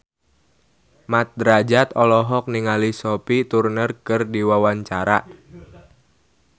Mat Drajat olohok ningali Sophie Turner keur diwawancara